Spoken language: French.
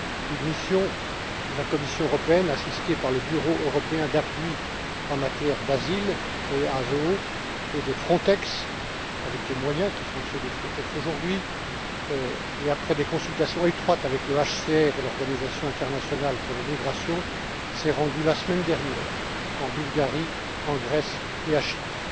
Une mission de la Commission européenne, assistée par le Bureau européen d'appui en matière d'asile et Frontex, avec les moyens qui sont ceux de Frontex aujourd'hui, et après des consultations étroites avec le HCR et l'Organisation internationale pour les migrations, s'est rendue la semaine dernière en Bulgarie, en Grèce et à Chypre.